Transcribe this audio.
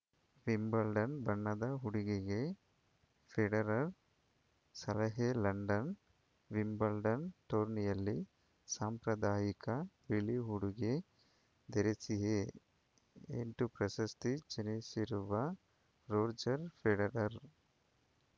Wimbledon ಬಣ್ಣದ ಉಡುಗೆಗೆ Federer ಸಲಹೆ ಲಂಡನ್‌ ವಿಂಬಲ್ಡನ್‌ ಟೂರ್ನಿಯಲ್ಲಿ ಸಾಂಪ್ರದಾಯಿಕ ಬಿಳಿ ಉಡುಗೆ ಧರಿಸಿಯೇ ಎಂಟು ಪ್ರಶಸ್ತಿ ಜನಿಸಿರುವ ರೋಜರ್‌ ಫೆಡರರ್